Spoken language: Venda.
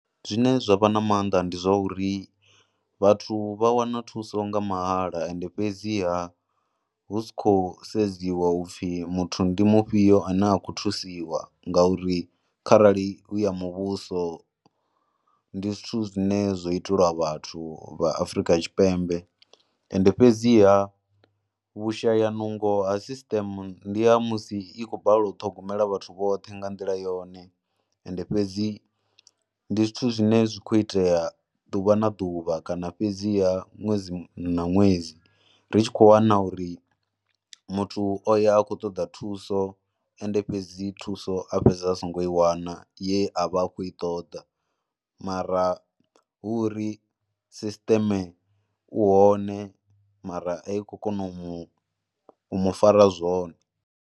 Zwine zwa vha na maanḓa ndi zwa uri vhathu vha wana thuso nga mahala ende fhedziha hu si khou sedziwa upfhi muthu ndi mufhio ane a khou thusiwa ngauri kharali hu ya muvhuso ndi zwithu zwine zwo itelwa vhathu vha Afrika Tshipembe. Ende fhedziha vhushayanungo a sisiṱeme ndi ha musi i khou balelwa u ṱhogomela vhathu vhoṱhe nga nḓila yone ende fhedzi ndi zwithu zwine zwi khou itea ḓuvha na ḓuvha kana fhedziha ṅwedzi na ṅwedzi Ri tshi khou wana uri muthu o ya a khou ṱoḓa thuso ende fhedzi thuso a fhedza a songo i wana ye a vha a khou i ṱoḓa mara hu uri sisiṱeme u hone mara a i khou kona u mu fara zwone.